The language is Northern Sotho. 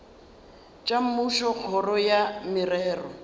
tša mmušo kgoro ya merero